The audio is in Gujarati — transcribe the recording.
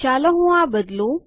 ચાલો હું આ બદલું